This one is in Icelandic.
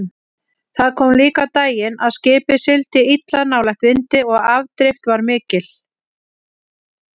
Það kom líka á daginn að skipið sigldi illa nálægt vindi og afdrift var mikil.